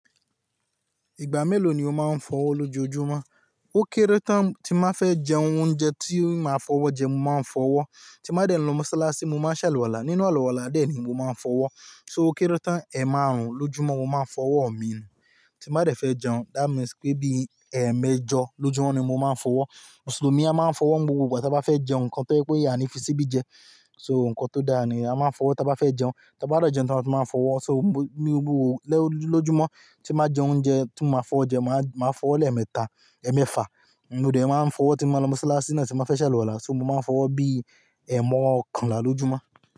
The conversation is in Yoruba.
Ìgbà mélòó ni o máa ń fọwọ́ lójoojúmọ́? Ó kéré tán tí n ba fẹ́ jẹun oúnjẹ tí màá fọwọ́ jẹ mo máa ń fọwọ́, tí n ba dẹ̀ lọ Mọ́sálásí, mo máa ṣàlùwàlá. Nínú àlùwàlá dẹ̀ ni mo máa ń fọwọ́. So ó kéré tán, ẹ̀emárùn-ún lójúmọ́ mo máa ń fọwọ́ mi ni. Tí n ba dẹ̀ fẹ́ jẹun, that means pé bí ẹ̀emẹ́jọ lójúmọ́ ni mo máa ń fọwọ́. Mùsùlùmí a máa ń fọwọ́ n gbogbo ìgbà ta bá fẹ́ jẹ nnkan tó jẹ pe á ni fi síbi jẹ. So nǹkan tó dáa ni a máa ń fọwọ́ ta bá fẹ́ jẹun, ta bá de jẹun tán a tun máa fọwọ́. So ní gbogbo lójúmọ́ tí n ba jẹ oúnjẹ tí mo máa fọ́wo jẹ, màá fọwọ́ lẹ́ẹ̀mẹta, ẹ́ẹ̀mẹ́fa, mò dẹ̀ máa ń fọwọ́ tí n ba lọ Mọ́sálásí náà tí n bà fẹ́ ṣàlùwàlá. So mo máa ń fọwọ́ bí ẹ̀emọ́- ọ̀kanlá lójúmọ́.